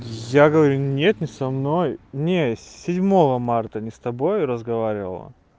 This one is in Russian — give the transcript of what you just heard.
я говорю нет не со мной не седьмого марта не с тобой разговаривала